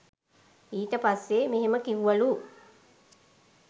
ඊට පස්සෙ මෙහෙම කිව්වලු.